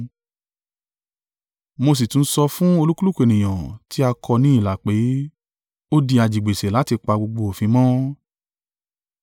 Mo sì tún sọ fún olúkúlùkù ènìyàn tí a kọ ní ilà pé, ó di ajigbèsè láti pa gbogbo òfin mọ́.